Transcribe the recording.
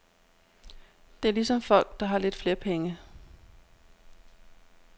Det er ligesom folk, der har lidt flere penge.